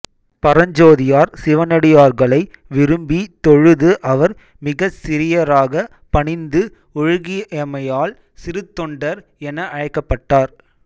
பரஞ்சோதியார் சிவனடியார்களை விரும்பி தொழுது அவர் மிகச் சிறியராகப் பணிந்து ஒழுகியமையால் சிறுத்தொண்டர் என அழைக்கப்பட்டார்